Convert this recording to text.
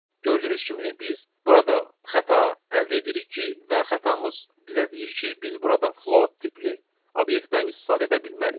Gördüyünüz kimi biz burada xəta əldə edirik ki, və xətamız bizə deyir ki, biz burada float tipli obyektdən istifadə edə bilmərik.